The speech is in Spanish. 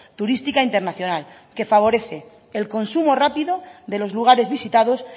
turística internacional que favorece el consumo rápido de los lugares visitados